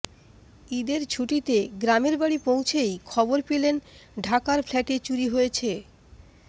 ঈদের ছুটিতে গ্রামের বাড়ি পৌঁছেই খবর পেলেন ঢাকার ফ্ল্যাটে চুরি হয়েছে